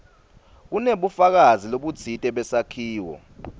kunebufakazi lobutsite besakhiwo